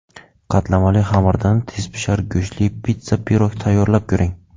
Qatlamali xamirdan tezpishar go‘shtli pitssa-pirog tayyorlab ko‘ring.